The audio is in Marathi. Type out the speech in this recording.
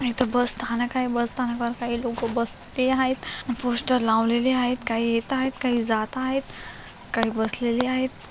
इथ बस स्थानक आहे बस स्थानकावर काही लोक बसलेले आहेत पोस्टर लावलेल आहेत काही येत आहेत काही जात आहेत काही बसलेले आहे.